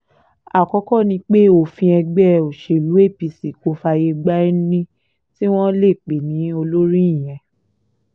àkọ́kọ́ ni pé òfin ẹgbẹ́ òṣèlú apc kò fààyè gba ẹni tí wọ́n lè pè ní olórí ìyẹn